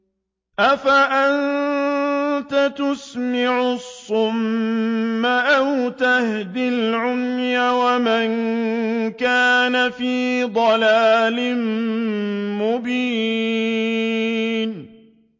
أَفَأَنتَ تُسْمِعُ الصُّمَّ أَوْ تَهْدِي الْعُمْيَ وَمَن كَانَ فِي ضَلَالٍ مُّبِينٍ